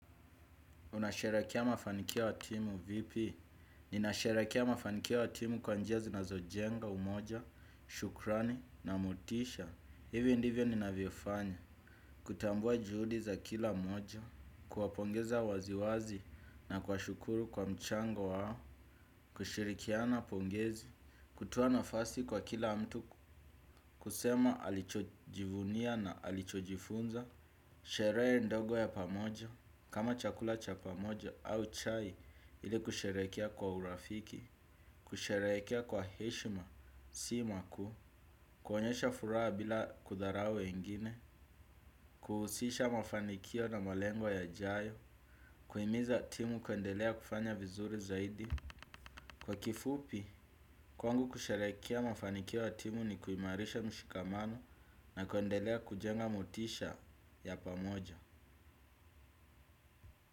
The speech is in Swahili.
Unasherehekea mafanikio ya timu vipi? Ninasherekea mafanikio ya timu kwa njia zinazojenga umoja, shukrani na motisha. Hivi ndivyo ninavyofanya. Kutambua juhudi za kila mmoja. Kuwapongeza waziwazi na kuwashukuru kwa mchango wao. Kushirikiana pongezi. Kutoa nafasi kwa kila mtu. Kusema alichojivunia na alichojifunza. Sherehe ndogo ya pamoja. Kama chakula cha pamoja au chai ili kusherekea kwa urafiki, kusherekea kwa heshima, si makuu, kuonyesha furaha bila kudharau wengine, kuhusisha mafanikio na malengo yajayo, kuhimiza timu kuendelea kufanya vizuri zaidi. Kwa kifupi, kwangu kusherehekea mafanikio ya timu ni kuimarisha mshikamano na kuendelea kujenga motisha ya pamoja.